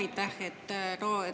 Aitäh!